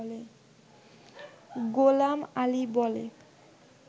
গোলাম আলি বলে